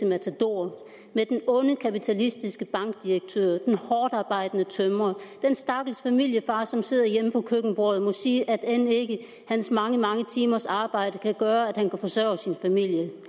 matador med den onde kapitalistiske bankdirektør den hårdtarbejdende tømrer den stakkels familiefar som sidder hjemme på køkkenbordet og må sige at end ikke hans mange mange timers arbejde kan gøre at han kan forsørge sin familie